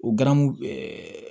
O garamu